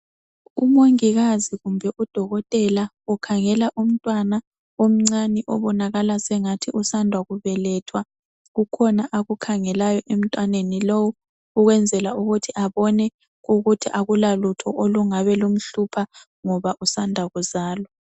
Umongikazi kumbe udokotela ukhangela umntwana omncane obonakala sengathi usanda kubelethwa kukhona akukhangelayo emntwaneni lowu ukwenzela ukuthi abone ukuthi akulalutho olungabe lumhlupha ngoba usanda kuzalwa.